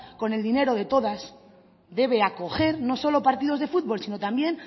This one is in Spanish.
con el dinero de todas debe acoger no solo partidos de futbol sino también